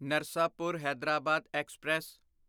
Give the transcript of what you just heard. Narsapur Hyderabad express